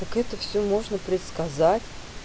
так как это всё можно предсказать